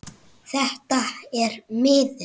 Þetta er miður.